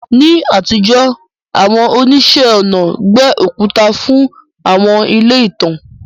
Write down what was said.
Ní àtijọ́, àwọn oníṣẹ́-ọnà gbẹ́ òkúta fún àwọn ilé ìtàn.